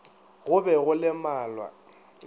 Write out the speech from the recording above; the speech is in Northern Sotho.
go be go le malwa